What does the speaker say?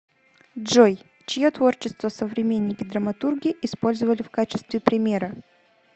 джой чье творчество современники драматурги использовали в качестве примера